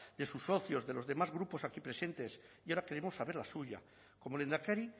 de sus socios de los demás grupos aquí presentes y ahora queremos saber la suya como lehendakari